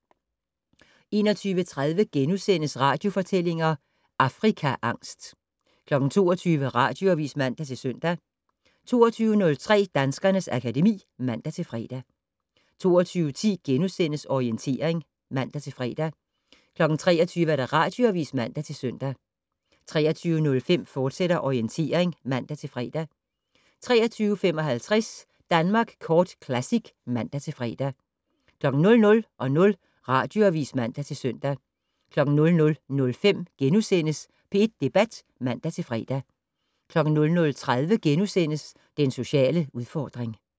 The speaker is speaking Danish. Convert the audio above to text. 21:30: Radiofortællinger - Afrikaangst * 22:00: Radioavis (man-søn) 22:03: Danskernes akademi (man-fre) 22:10: Orientering *(man-fre) 23:00: Radioavis (man-søn) 23:05: Orientering, fortsat (man-fre) 23:55: Danmark Kort Classic (man-fre) 00:00: Radioavis (man-søn) 00:05: P1 Debat *(man-fre) 00:30: Den sociale udfordring *